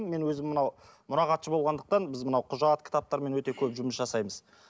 мен өзім мынау мұрағатшы болғандықтан біз мынау құжат кітаптармен өте көп жұмыс жасаймыз